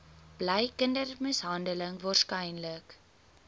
bly kindermishandeling waarskynlik